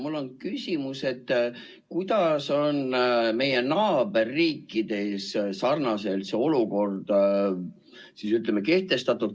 Mul on küsimus, kuidas on meie naaberriikides sarnases olukorras see kehtestatud.